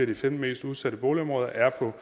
de femten mest udsatte boligområder er på